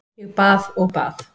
Ég bað og bað.